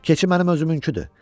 Keçi mənim özümünkidir.